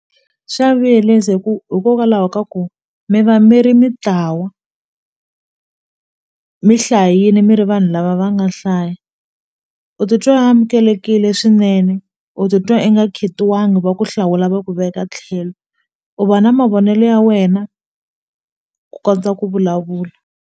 Xa vuyelisa hi ku hikokwalaho ka ku mi va mi ri mitlawa mi hlayini mi ri vanhu lava va nga hlaya u ti twa amukelekile swinene u titwa i nga khetiwangi va ku hlawula va ku veka tlhelo u va na mavonelo ya wena ku kondza ku vulavula.